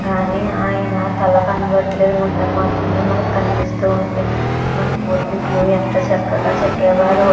కానీ ఆయన తల కనపడటం లేదు ఒక మొండెం మాత్రమే కనబడుతుంది కానీ మన పూర్వీకులు ఎంత చక్కగాచెక్కేవారో --